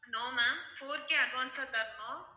no ma'am four K advance ஆ தரணும்